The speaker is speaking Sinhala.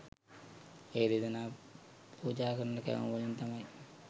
ඒ දෙදෙනා පූජා කරන කැවුම් වලින් තමයි